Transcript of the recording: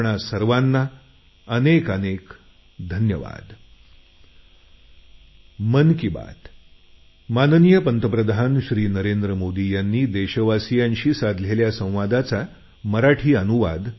आपण सर्वांना अनेक अनेक धन्यवाद